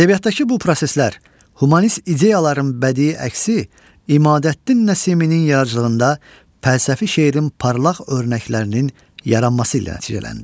Ədəbiyyatdakı bu proseslər, humanist ideyaların bədii əksi İmadəddin Nəsiminin yaradıcılığında fəlsəfi şeirin parlaq örnəklərinin yaranması ilə nəticələndi.